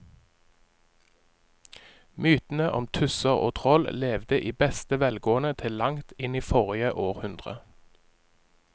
Mytene om tusser og troll levde i beste velgående til langt inn i forrige århundre.